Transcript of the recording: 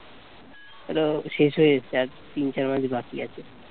এটা শেষ হয়ে এসেছে আর তিন চার মাস বাকি আছে